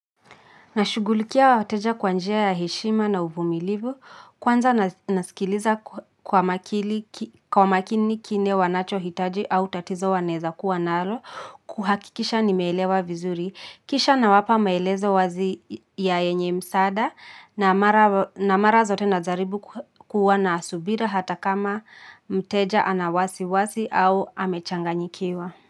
Nashughulikia wateja kwa njia ya heshima na uvumilivu. Kwanza nasikiliza kwa makini kile wanacho hitaji au tatizo wanaeza kuwa nalo. Kuhakikisha nimeelewa vizuri. Kisha nawapa maelezo wazi ya yenye msaada na na mara zote najaribu kuwa na subira hata kama mteja ana wasiwasi au amechanganyikiwa.